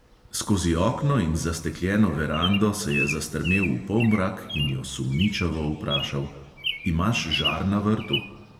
Skozi okno in zastekljeno verando se je zastrmel v polmrak in jo sumničavo vprašal: "imaš žar na vrtu?"